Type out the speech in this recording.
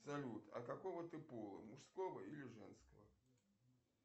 салют а какого ты пола мужского или женского